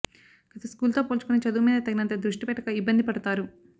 గత స్కూల్తో పోల్చుకుని చదువుమీద తగినంత దృష్టి పెట్టక ఇబ్బంది పడతారు